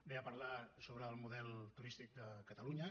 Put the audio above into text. ve a parlar sobre el model turístic de catalunya